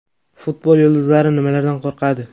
Futbol yulduzlari nimalardan qo‘rqadi?.